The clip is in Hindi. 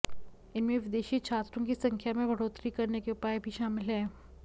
इनमें विदेशी छात्रों की संख्या में बढ़ोतरी करने के उपाय भी शामिल हैं